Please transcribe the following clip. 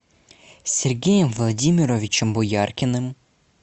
сергеем владимировичем бояркиным